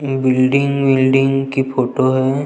Building विल्डिंग की photo हैं।